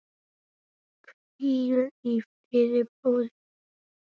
Hvíl í friði, bróðir.